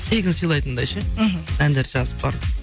тегін сыйлатындай ше мхм әндерді жазып барып